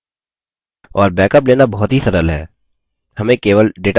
और बैकअप लेना बहुत ही सरल है